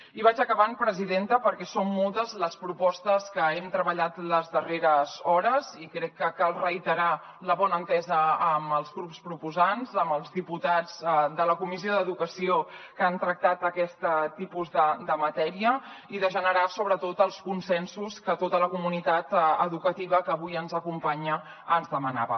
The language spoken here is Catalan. i vaig acabant presidenta perquè són moltes les propostes que hem treballat les darreres hores i crec que cal reiterar la bona entesa amb els grups proposants amb els diputats de la comissió d’educació que han tractat aquest tipus de matèria i de generar sobretot els consensos que tota la comunitat educativa que avui ens acompanya ens demanava